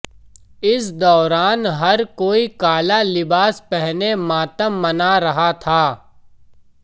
इस दौरान हर कोई काला लिबास पहने मातम मना रहा था